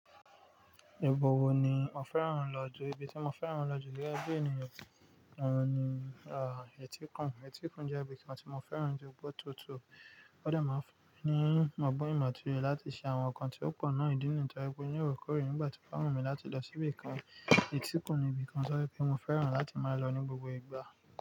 Ìbọ̀wọ̀ ni mo fẹ́ràn lọ́ju, ibi tí mo fẹ́ràn lọ́ju gẹ́gẹ́ bí ènìyàn ohun ni, à, etíkun. Etíkun jẹ́ ibi kan tí mo fẹ́ràn jù nítorí pé ó tutù. Ó dàá máa ń fún ni ọgbọ́n ìmọ̀ tó yẹ láti ṣe àwọn nǹkan tí ó pọ̀ náà ìdí nìyìí tó jẹ́ pé ní orekoore nígbà tí ó bá wù mí láti lọ síbì kan. Kò ní ibi kan tó jẹ́ pé mo fẹ́ràn láti máa lọ ní gbogbo ìgbà.